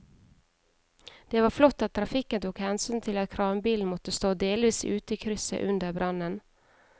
Det var flott at trafikken tok hensyn til at kranbilen måtte stå delvis ute i krysset under brannen.